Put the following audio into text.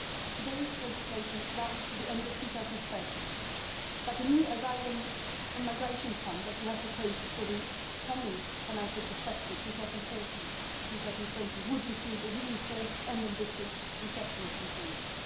Today's legislation runs to the end of 2013, but the new asylum and migration fund that we have proposed for the coming financial perspective, 2014 to 2020, includes a reinforced and ambitious resettlement component.